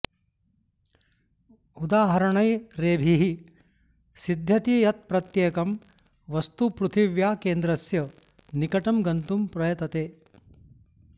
उदाहरणैरेभिः सिध्यति यत् प्रत्येकं वस्तु पृथिव्याः केन्द्रस्य निकटं गन्तुम् प्रयतते